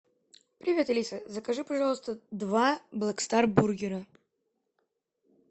привет алиса закажи пожалуйста два блэк стар бургера